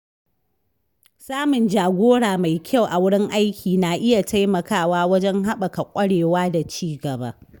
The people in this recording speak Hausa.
Samun jagora mai kyau a wurin aiki na iya taimakawa wajen haɓaka kwarewa da ci gaba.